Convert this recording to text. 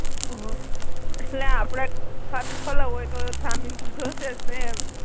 ઓહ એટ્લે આપડે ખાતુ ખોલાવુ હોય તો જામિન થસે જ ને